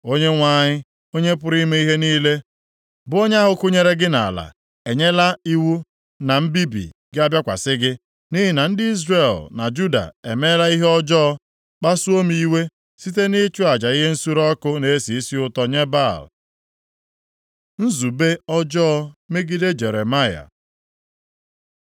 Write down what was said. Onyenwe anyị, Onye pụrụ ime ihe niile bụ onye ahụ kụnyere gị nʼala, e nyela iwu na mbibi ga-abịakwasị gị, nʼihi na ndị Izrel na Juda emeela ihe ọjọọ, kpasuo m iwe site nʼịchụ aja ihe nsure ọkụ na-esi isi ụtọ nye Baal. Nzube ọjọọ megide Jeremaya